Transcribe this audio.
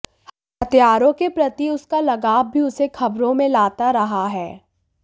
हथियारों के प्रति उसका लगाव भी उसे खबरों में लाता रहा है